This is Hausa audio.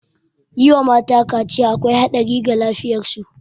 Yi wa mata kaciya akwai haɗari ga lafiyar su